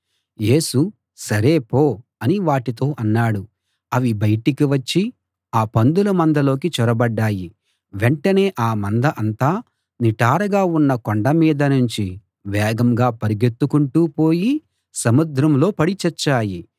యేసు సరే పో అని వాటితో అన్నాడు అవి బయటికి వచ్చి ఆ పందుల మందలోకి చొరబడ్డాయి వెంటనే ఆ మంద అంతా నిటారుగా ఉన్న కొండ మీద నుంచి వేగంగా పరుగెత్తుకుంటూ పోయి సముద్రంలో పడి చచ్చాయి